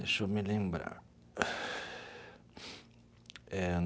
Deixa eu me lembrar eh.